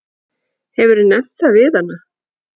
Hefurðu nefnt það við hana?